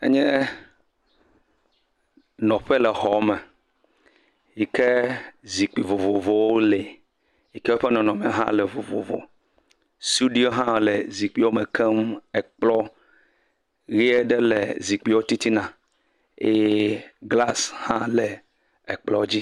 Enye nɔƒe le xɔ me yike zikpui vovovowo li yike eƒe nɔnɔ me le vovovo. Sudui hã le zikpuiawo me keŋ. Kplɔ ʋi aɖe le zikpuiwo titina eye glas hã le kplɔ dzi.